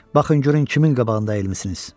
Baxın görün kimin qabağında əyilmisiniz.